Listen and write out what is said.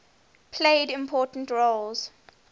played important roles